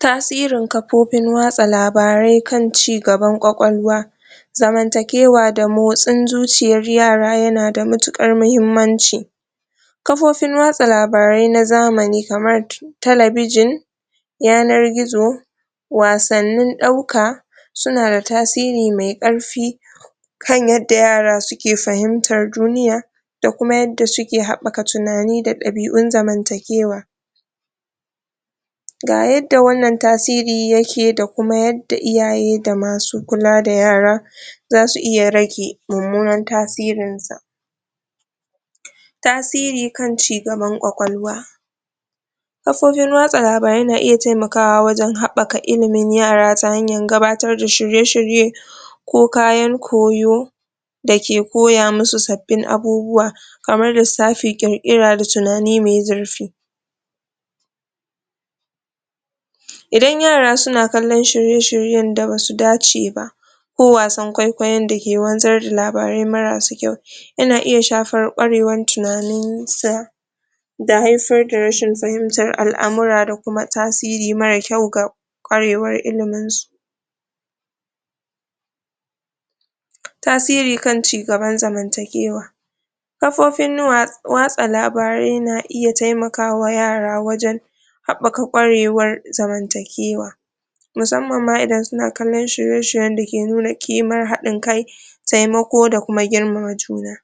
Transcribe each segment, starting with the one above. Tasirin kafofin watsa labarai kan cigaban ƙwaƙwalwa zamantakewa da motsin zuciyar yara yana da matuƙar muhimmanci kafofin watsa labarai na zamani kamar talabijin yanar gizo wasannin ɗauka suna da tasiri mai ƙarfi kan yadda yara suke fahimtar duniya da kuma yadda suke haɓɓaka tunani da ɗabi'un zamantakewa ga yadda wannan tasiri yake da kuma yadda iyaye da masu kula da yara za su iya rage mummunan tasirin sa tasiri kan cigaban ƙwaƙwalwa kafofin watsa labarai na iya taimakawa wajen haɓɓaka ilimin yara ta hanyar gabatar da shirye-shirye ko kayan koyo da ke kiya musu sabbin abubuwa kamar lissafi ƙirƙira da tunani mai zurfi idan yara suna kallon shirye-shiryen da basu dace ba ko wasan kwaikwayon da ke wanzar da labarai marasa kyau ya na iya shafar ƙwarewan tunanin sa da haifar da rashin fahimtar al'amura da kuma tasiri mara kyau ga ƙwarewar ilimin su tasiri kan cigaban zamantakewa kafofin watsa labarai na iya taimakawa yara wajen haɓɓaka ƙwarewar zamantakewa musamman ma idan suna kallon shirye-shiryen da ke nuna ƙimar haɗin kai taimako da kuma girmama juna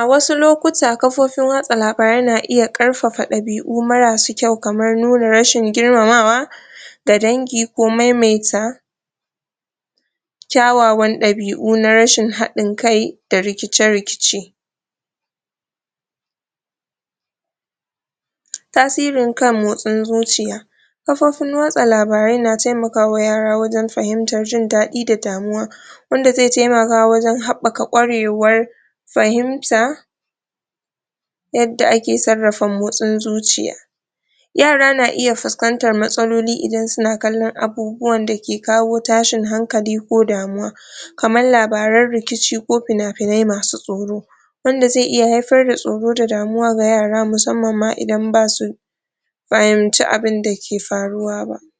a wasu lokuta kafofin watsa labari na iya ƙarfafa ɗabi'u marasu kyau kamar nuna rashin girmamawa ga dangi ko maimaita kyawawan ɗabi'u na rashin haɗin kai da rikice-rikice tasirin kan motsin zuciya kafofin watsa labarai na taimakawa yara wajen fahimtar jin daɗi da damuwa inda zai taimaka wajen haɓɓaka ƙwarewar fahimta yadda ake sarrafa motsin zuciya yara na iya fuskantar matsaloli idan suna kallon abubuwan da ke kawo tashin hankali ko damuwa kamar labarn rikici ko finafinai masu tsoro wanda zai iya haifar da tsoro da damuwa ga yara musamman ma idan ba su fahimci abinda ke faruwa ba